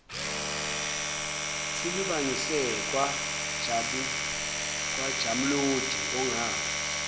silibangise kwajamuludi ongazi